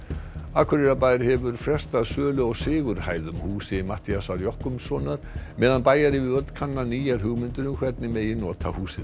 Akureyrarbær hefur frestað sölu á Sigurhæðum húsi Matthíasar meðan bæjaryfirvöld kanna nýjar hugmyndir um hvernig megi nota húsið